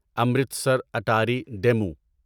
Amritsar Attari demo